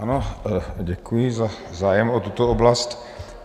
Ano, děkuji za zájem o tuto oblast.